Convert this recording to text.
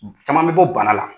Caman bɛ bɔ bana la